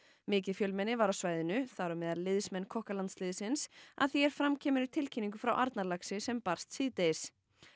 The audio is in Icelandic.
mikið fjölmenni var á svæðinu þar á meðal liðsmenn að því er fram kemur í tilkynningu frá Arnarlaxi sem barst síðdegis